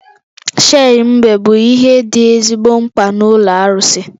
Shei mbe bụ ihe dị ezigbo mkpa n'ụlọ arụsị